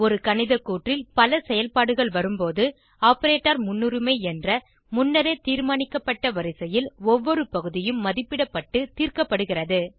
ஒரு கணித கூற்றில் பல செயல்பாடுகள் வரும்போது ஆப்பரேட்டர் முன்னுரிமை என்ற முன்னரே தீர்மானிக்கப்பட்ட வரிசையில் ஒவ்வொரு பகுதியும் மதிப்பிடப்பட்டு தீர்க்கப்படுகிறது